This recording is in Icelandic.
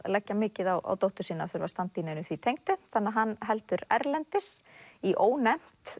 leggja mikið á dóttur sína að þurfa að standa í neinu því tengdu þannig að hann heldur erlendis í ónefnt